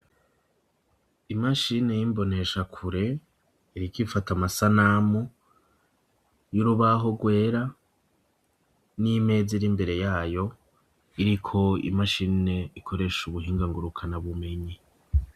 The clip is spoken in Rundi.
Imashine y'imboneshakure, iriko ifata amasanamu y'urubaho rwera n'imeza iri imbere yayo, iriko imashine ikoresha ubuhinga ngurukanabumenyi.